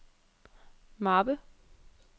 mappe